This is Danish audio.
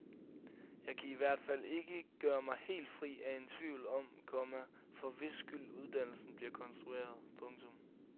Jeg kan i hvert fald ikke gøre mig helt fri af en tvivl om, komma for hvis skyld uddannelsen bliver konstrueret. punktum